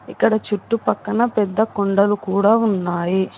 ఇక్కడ చుట్టు పక్కన్న పెద్ద కొండలు కుడా ఉన్నాయి.